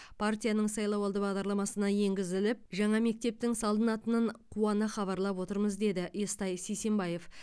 партияның сайлауалды бағдарламасына енгізіліп жаңа мектептің салынатынын қуана хабарлап отырмыз деді естай сисенбаев